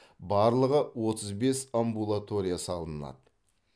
барлығы отыз бес амбулатория салынады